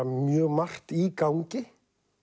mjög margt í gangi